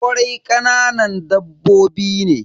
Ƙwari kananan dabbobi ne.